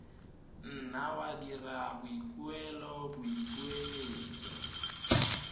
nna wa dira boikuelo boipiletso